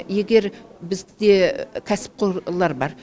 егер бізде кәсіпқорлар бар